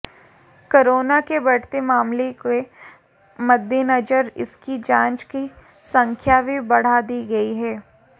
corona के बढ़ते मामलों के मद्देनजर इसकी जांच की संख्या भी बढ़ा दी गई है